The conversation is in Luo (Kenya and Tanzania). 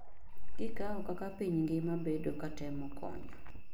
kikawo kaka piny ngima bedo katemo konyo